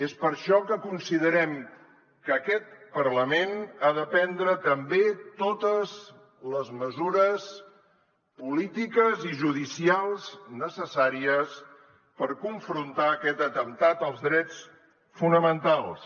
és per això que considerem que aquest parlament ha de prendre també totes les mesures polítiques i judicials necessàries per confrontar aquest atemptat als drets fonamentals